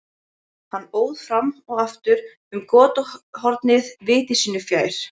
Hann óð fram og aftur um götuhornið viti sínu fjær.